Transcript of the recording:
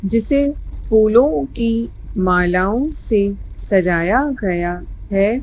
जिसे फूलों की मालाओं से सजाया गया है।